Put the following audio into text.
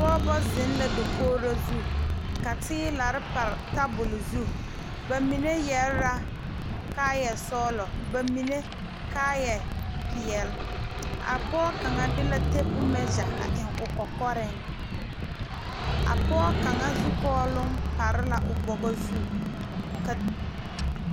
Pɔɔbɔ zeŋ la dakogro zu ka teelarre pare tabole zu ba mine yɛre la kaayɛ sɔglɔ ba mine kaayɛ peɛle a pɔɔ kaŋa de la tapu mɛgya a eŋ o kɔkɔreŋ a pɔɔ kaŋa zukɔɔloŋ pare la o bɔgɔ zu ka.